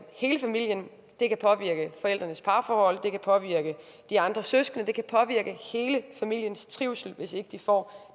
hele familien det kan påvirke forældrenes parforhold det kan påvirke de andre søskende det kan påvirke hele familiens trivsel hvis ikke de får